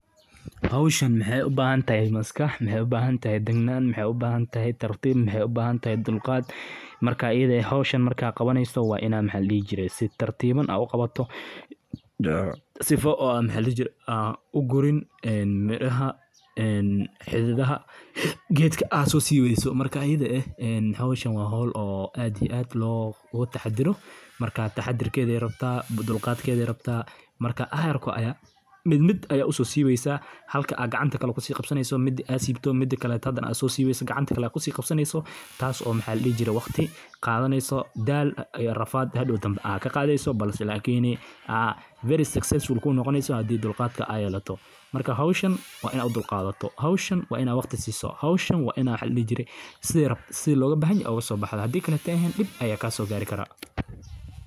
Howshan mxau ubahantahy maskax, maxay ubahantahy degnan, maxay ubahantahy tartib, maxay ubahantahy dulqad. marka ayadha ah howshan marka aad qabaneyso waa inad maxa ladihi jire sii tartiban aad uqabato, sifo oo maxa ladihi jire ugurin miraha, xidadaha gedka aad sosibeyso marka ayadha eeeh howshan waa hol aad iyo aad looga taxataro marka taxatarkedha ayay rabta, dulqadkedha ayay rabta marka ayarko ayad mid mid aya uso sibeysa halka aad gacanta kusiqabsaneyso midi aad sibto midi kale aad sosibeyso gacanta kale ayad kusiqabsaneyso, tasi oo maxa ladihi jire waqti qadaneyso daal iyo rafad aad hadow dambe kaqadeyso balse lakini aa very succesiful kunoqoneyso hadi dulqadka aad yelato, marka howshan waa ini udulqadhato, howshan waa inad waqti siso, howshan wa ini waxa ladihi jire si loga bahanyoho ogasobaxdo hadi kale aay ehen dib aya kasogari kara.